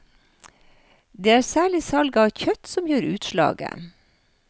Det er særlig salget av kjøtt som gjør utslaget.